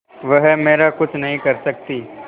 वह मेरा कुछ नहीं कर सकती